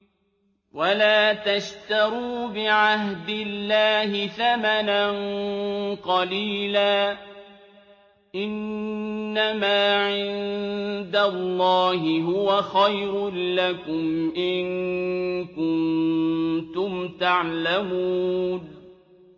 وَلَا تَشْتَرُوا بِعَهْدِ اللَّهِ ثَمَنًا قَلِيلًا ۚ إِنَّمَا عِندَ اللَّهِ هُوَ خَيْرٌ لَّكُمْ إِن كُنتُمْ تَعْلَمُونَ